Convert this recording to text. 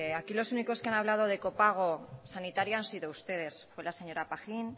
aquí los únicos que han hablado de copago sanitario han sido ustedes fue la señora pajín